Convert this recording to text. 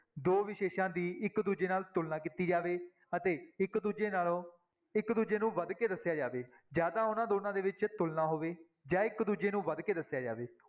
ਦੋ ਵਿਸ਼ੇਸ਼ਾਂ ਦੀ ਇੱਕ ਦੂਜੇ ਨਾਲ ਤੁਲਨਾ ਕੀਤੀ ਜਾਵੇ ਅਤੇ ਇੱਕ ਦੂਜੇ ਨਾਲੋਂ ਇੱਕ ਦੂਜੇ ਤੋਂ ਵੱਧ ਕੇ ਦੱਸਿਆ ਜਾਵੇ ਜਾਂ ਤਾਂ ਉਹਨਾਂ ਦੋਨਾਂ ਦੇ ਵਿੱਚ ਤੁਲਨਾ ਹੋਵੇ ਜਾਂ ਇੱਕ ਦੂਜੇ ਨੂੰ ਵੱਧ ਕੇ ਦੱਸਿਆ ਜਾਵੇ।